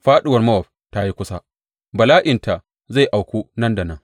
Fāɗuwar Mowab ta yi kusa; bala’inta zai auku nan da nan.